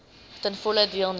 ten volle deelneem